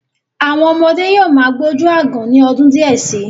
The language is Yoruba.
Àwọn ọmọdé yóò má gbójú aágan ní ọdún díẹ̀ sí.